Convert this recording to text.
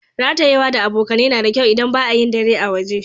Ratayewa da abokane na da kyau idan ba'a yin dare a waje.